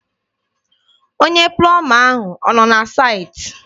Onye plọma ahụ ọ nọ na saịtị?